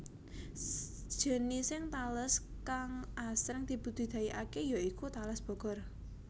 Jenising tales kang asring dibudidayakaké ya iku Tales Bogor